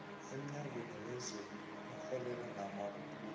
emnyangweni wezokurhwebelana namabubulo